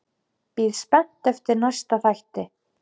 Bíð spennt eftir næsta þætti.